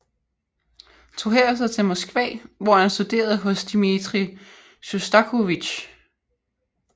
Tog herefter til Moskva hvor han studerede hos Dmitrij Sjostakovitj